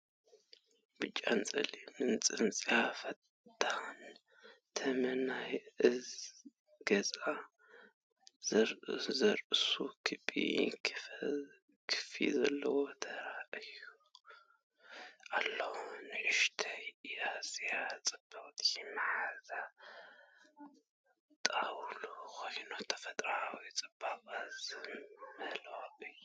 ብጫን ጸሊምን ጽንጽያ/ፋንጣ ተመን ናይ ገዛእ ርእሱ ክቢ ክንፊ ዘለዎ ተራእዩ ኣሎ። ንእሽቶን ኣዝያ ጽብቕትን መሓዛ ጣንጡ ኮይና፡ ተፈጥሮኣዊ ጽባቐ ዝመልኣ እያ።